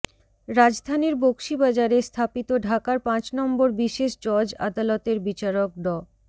রাজধানীর বকশীবাজারে স্থাপিত ঢাকার পাঁচ নম্বর বিশেষ জজ আদালতের বিচারক ড